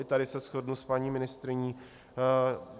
I tady se shodnu s paní ministryní.